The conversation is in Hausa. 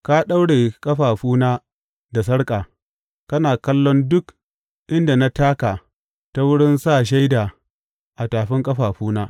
Ka daure ƙafafuna da sarƙa; kana kallon duk inda na taka ta wurin sa shaida a tafin ƙafafuna.